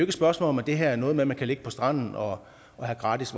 et spørgsmål om at det her er noget med man kan ligge på stranden og have gratis